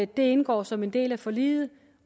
det indgår som en del af forliget